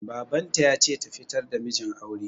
Babanta ya ce ta fitar da mijin aure